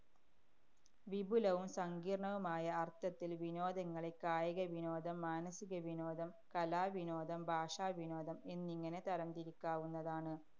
വിപുലവും സങ്കീര്‍ണവുമായ അര്‍ത്ഥത്തില്‍ വിനോദങ്ങളെ കായികവിനോദം, മാനസികവിനോദം, കലാവിനോദം, ഭാഷാ വിനോദം എന്നിങ്ങനെ തരംതിരിക്കാവുന്നതാണ്.